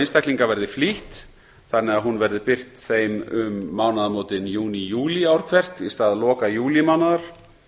einstaklinga verði flýtt þannig að álagningin verði birt þeim um mánaðamótin júní júlí ár hvert í stað loka júlímánaðar þá